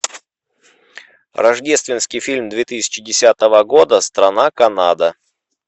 рождественский фильм две тысячи десятого года страна канада